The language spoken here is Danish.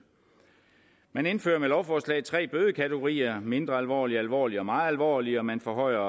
man indfører med lovforslaget tre bødekategorier nemlig mindre alvorlige alvorlige og meget alvorlige og man forhøjer